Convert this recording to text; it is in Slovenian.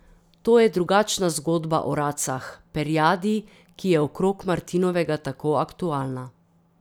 To je drugačna zgodba o racah, perjadi, ki je okrog martinovega tako aktualna.